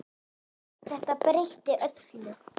Þetta breytti öllu.